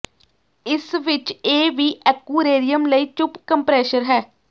ਇਸ ਵਿਚ ਇਹ ਵੀ ਐਕੁਏਰੀਅਮ ਲਈ ਚੁੱਪ ਕੰਪ੍ਰੈਸ਼ਰ ਹੈ